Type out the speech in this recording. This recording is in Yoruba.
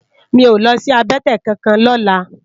Mi ó lòsi àbètè kánkán lòlá